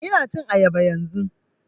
Ina cin ayaba yanzun